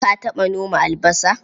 Ka taɓa noma albasa?